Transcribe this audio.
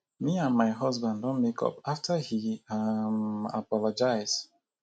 me and my husband don make up after he um apologize